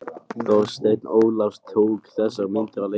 Þorsteinn Ólafs tók þessar myndir á leiknum.